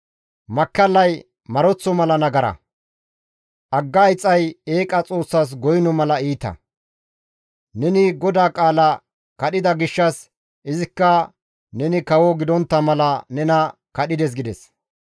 Makkallay maroththo mala nagara; agga ixxay eeqa xoossas goyno mala iita; neni GODAA qaalaa kadhida gishshas izikka neni kawo gidontta mala nena kadhides» gides.